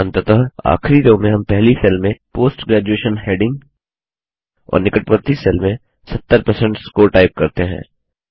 अंततः आखिरी रो में हम पहली सेल में पोस्ट ग्रेजुएशन हैडिंग और निकटवर्ती सेल में 70 परसेंट स्कोर टाइप करते हैं